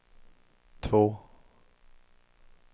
två